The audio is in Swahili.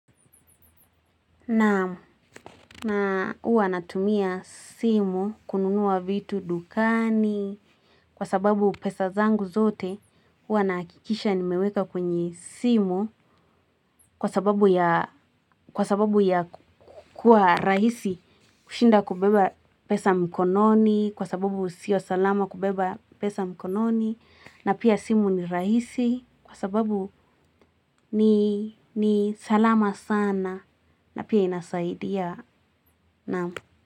Na huwa natumia simu kununua vitu dukani kwa sababu pesa zangu zote huwa nahakikisha nimeweka kwenye simu kwa sababu ya kuwa rahisi kushinda kubeba pesa mkononi kwa sababu sio salama kubeba pesa mkononi na pia simu ni rahisi kwa sababu ni salama sana na pia inasaidia na.